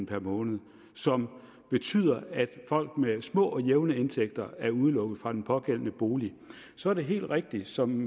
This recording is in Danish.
per måned som betyder at folk med små og jævne indtægter er udelukket fra den pågældende bolig så er det helt rigtigt som